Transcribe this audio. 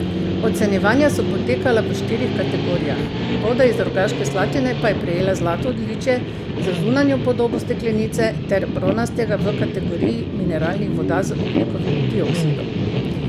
Ocenjevanja so potekala v štirih kategorijah, voda iz Rogaške Slatine pa je prejela zlato odličje za zunanjo podobo steklenice ter bronastega v kategoriji mineralnih voda z ogljikovim dioksidom.